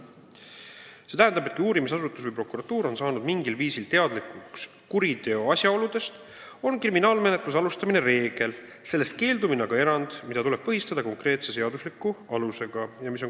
See tähendab, et kui uurimisasutus või prokuratuur on saanud mingil viisil teadlikuks kuriteo asjaoludest, on kriminaalmenetluse alustamine reegel, sellest keeldumine aga erand, mida tuleb põhjendada konkreetse seadusliku alusega.